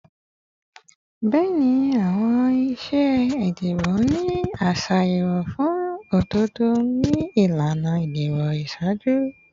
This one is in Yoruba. Bẹẹni, awọn iṣe idibo ni a ṣe ayẹwo fun ododo ni ilana idibo iṣaaju